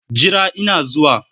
Jira ina zuwa!